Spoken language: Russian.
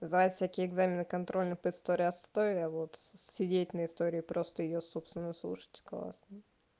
сдавать всякие экзамены контрольные по истории отстой а вот сидеть на истории просто её собственно слушать классно